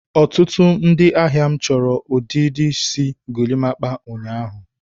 ọtụtụ ndị ahịa m chọrọ ọdịdị isi golimapa ụnyaahụ.